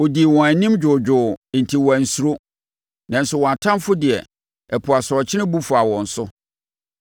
Ɔdii wɔn anim dwoodwoo, enti wɔansuro; nanso wɔn atamfoɔ deɛ, ɛpo asorɔkye bu faa wɔn so.